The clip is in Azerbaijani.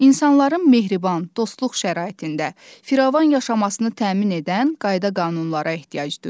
İnsanların mehriban, dostluq şəraitində firavan yaşamasını təmin edən qayda-qanunlara ehtiyac duyulur.